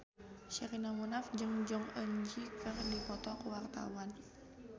Sherina Munaf jeung Jong Eun Ji keur dipoto ku wartawan